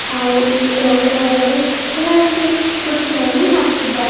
ಹಾಗೂ ಇಲ್ಲಿ ಗ್ರೌಂಡ್ ಒಳಗಡೆ ಬಹಳಷ್ಟು ಕುರ್ಚಿವನ್ನು ಹಾಕಿದ್ದಾರೆ.